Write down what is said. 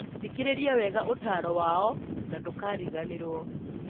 Thikĩrĩria wega ũtaaro wao na ndũkariganĩrũo.